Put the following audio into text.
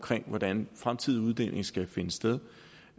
hvordan den fremtidige uddeling skal finde sted